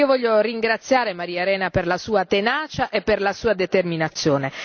Io voglio ringraziare Maria Arena per la sua tenacia e per la sua determinazione.